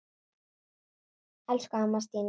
Elsku amma Stína.